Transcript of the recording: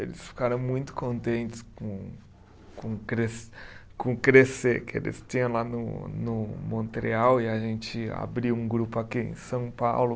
Eles ficaram muito contentes com com o cres, com o Crescer que eles tinham lá no no Montreal e a gente abriu um grupo aqui em São Paulo.